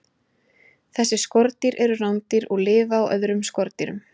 Þessi skordýr eru rándýr og lifa á öðrum skordýrum.